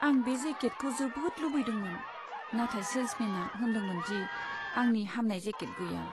आं बे जेकेटखौ जोबोद लुबैदोंमोन, नाथाय सेल्समेनआ होनदोंमोन दि आंनि हामनाइ जेकेट गैया।